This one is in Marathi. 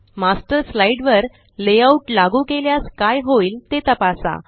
मास्टर स्लाइड वर लेआउट लागू केल्यास काय होईल ते तपासा